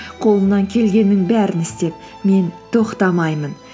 қолымнан келгеннің бәрін істеп мен тоқтамаймын